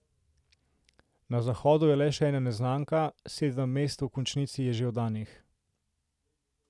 Na Zahodu je le še ena neznanka, sedem mest v končnici je že oddanih.